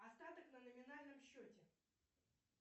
остаток на номинальном счете